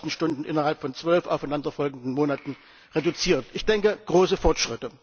1000 Stunden innerhalb von zwölf aufeinanderfolgenden Monaten reduziert. Ich denke große Fortschritte!